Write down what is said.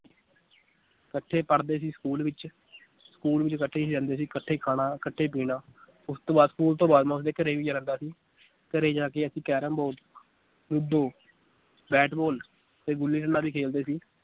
ਕੱਠੇ ਪੜ੍ਹਦੇ ਸੀ school ਵਿਚ school ਵਿਚ ਕੱਠੇ ਹੀ ਰਹਿੰਦੇ ਸੀ ਇਕੱਠੇ ਹੀ ਖਾਣਾ, ਇਕੱਠੇ ਪੀਣਾ ਉਸ ਤੋਂ ਬਾਅਦ school ਤੋਂ ਬਾਅਦ ਮੈ ਉਸ ਦੇ ਘਰੇ ਵੀ ਜਾਂਦਾ ਸੀ ਘਰੇ ਜਾ ਕੇ ਅਸੀਂ ਕੈਰਮ ਬੋ ਲੁਡੋ ਬੈਟਬਾਲ ਤੇ ਗੁੱਲੀ ਡੰਡਾ ਵੀ ਖੇਲਦੇ ਸੀ